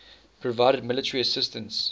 provided military assistance